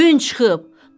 Gün çıxıb!